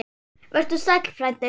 Vertu sæll, frændi.